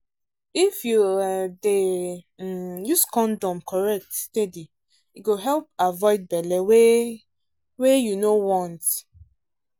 if you um dey um use condom correct steady e go help avoid belle wey um you no want.